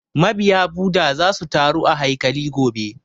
Ma biya Bhudha za su taru a haikali gobe